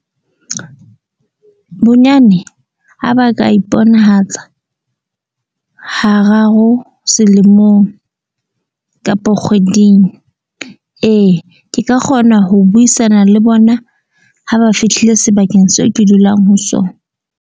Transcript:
Bonyane ha ba ka iponahatsa hararo selemong kapa kgweding. Ee ke ka kgona ho buisana le bona ha ba fihlile sebakeng seo ke dulang ho sona.